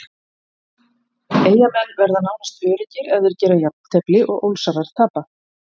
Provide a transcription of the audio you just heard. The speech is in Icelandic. Eyjamenn verða nánast öruggir ef þeir gera jafntefli og Ólsarar tapa.